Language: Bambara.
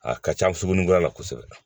A ka ca suguni kura la kosɛbɛ